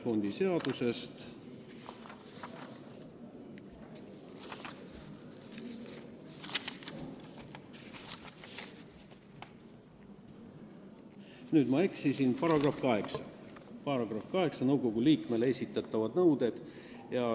Nüüd ma eksisin, see on § 8 "Nõukogu liikmele esitatavad nõuded".